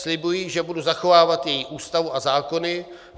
Slibuji, že budu zachovávat její Ústavu a zákony.